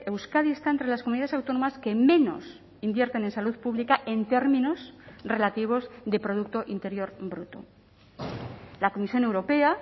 euskadi está entre las comunidades autónomas que menos invierten en salud pública en términos relativos de producto interior bruto la comisión europea